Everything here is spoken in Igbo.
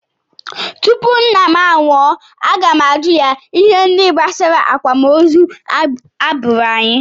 Tupu nna m anwụọ, aga m ajụ ya ihe ndị gbasara akwamozu agbụrụ anyị